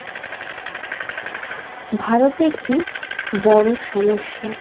ভারত একটি বড় সমস্যা